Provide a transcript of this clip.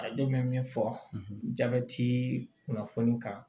A don bɛ min fɔ jabɛti kunnafoni kan